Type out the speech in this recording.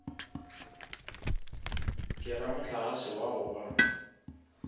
ke ramohlagase wa go ba